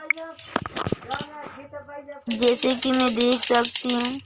जैसे कि मैं देख सकती हूं--